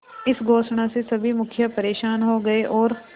इस घोषणा से सभी मुखिया परेशान हो गए और